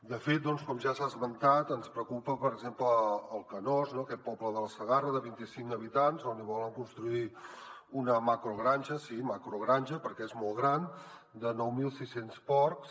de fet com ja s’ha esmentat ens preocupa per exemple el canós aquest poble de la segarra de vint i cinc habitants on volen construir una macrogranja sí macrogranja perquè és molt gran de nou mil sis cents porcs